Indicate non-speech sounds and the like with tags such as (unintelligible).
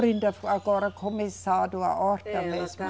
(unintelligible) agora começado a horta mesmo, né? É ela está